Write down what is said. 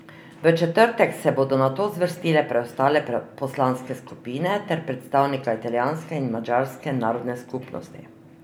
V četrtek se bodo nato zvrstile preostale poslanske skupine ter predstavnika italijanske in madžarske narodne skupnosti.